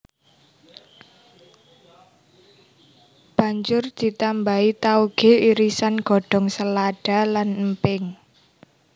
Banjur ditambahi taoge irisan godhong selada lan emping